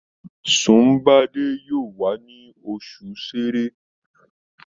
Sunbade yóò wá ní oṣù sẹrẹ